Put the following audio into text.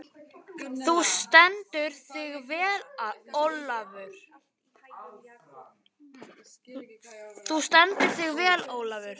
Þú stendur þig vel, Olavur!